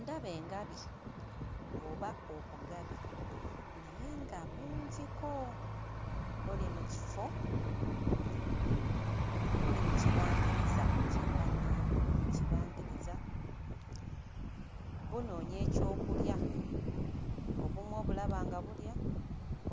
Ndaba engabi oba obugabi naye nga bungiko. Buli mu kifo, buli mu kibangiriza kye mba ŋŋamba buli mu kibangiriza, bunoonya ekyokulya. Obumu obulaba nga bulya,